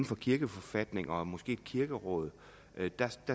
for kirkeforfatning og måske kirkeråd